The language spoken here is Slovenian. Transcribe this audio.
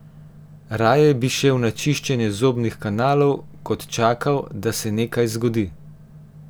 Raje bi šel na čiščenje zobnih kanalov kot čakal, da se nekaj zgodi.